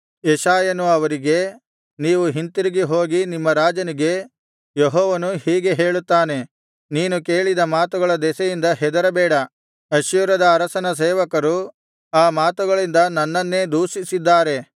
ಯೆಶಾಯನು ಅವರಿಗೆ ನೀವು ಹಿಂತಿರುಗಿ ಹೋಗಿ ನಿಮ್ಮ ರಾಜನಿಗೆ ಯೆಹೋವನು ಹೀಗೆ ಹೇಳುತ್ತಾನೆ ನೀನು ಕೇಳಿದ ಮಾತುಗಳ ದೆಸೆಯಿಂದ ಹೆದರಬೇಡ ಅಶ್ಶೂರದ ಅರಸನ ಸೇವಕರು ಆ ಮಾತುಗಳಿಂದ ನನ್ನನ್ನೇ ದೂಷಿಸಿದ್ದಾರೆ